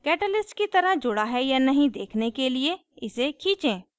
catalyst की तरह जुड़ा है या नहीं देखने के लिए इसे खींचें